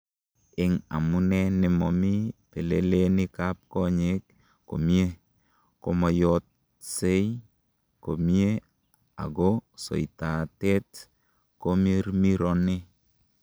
En amune nemomi pelelenikab konyek komie, komoyotksei komie ako soitatet komirmirone.